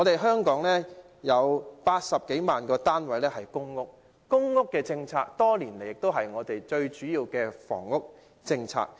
香港有80多萬個公屋單位，公屋政策多年來是香港最主要的房屋政策。